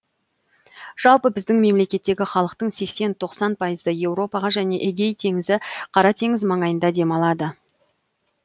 жалпы біздің мемлекеттегі халықтың сексен тоқсан пайызы еуропаға және эгей теңізі қара теңіз маңайында демалады